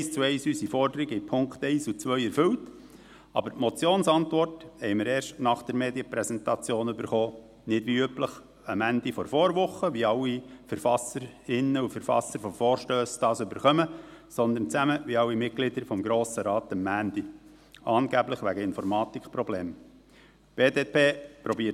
Zwar hat er eins zu eins unsere Forderung in den Punkten 1 und 2 erfüllt, aber die Motionsantwort haben wir erst nach der Medienpräsentation erhalten, nicht wie üblich am Ende der Vorwoche, wenn alle Verfasserinnen und Verfasser von Vorstössen die Antworten erhalten, sondern, wie alle Mitglieder des Grossen Rates, am Montag, angeblich wegen Informatikproblemen.